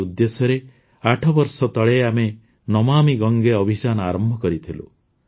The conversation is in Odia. ଏହି ଉଦ୍ଦେଶ୍ୟରେ ଆଠ ବର୍ଷ ତଳେ ଆମେ ନମାମି ଗଙ୍ଗେ ଅଭିଯାନ ଆରମ୍ଭ କରିଥିଲୁ